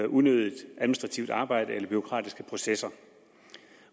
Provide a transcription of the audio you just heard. unødigt administrativt arbejde eller bureaukratiske processer